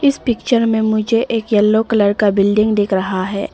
इस पिक्चर में मुझे एक येलो कलर का बिल्डिंग दिख रहा है।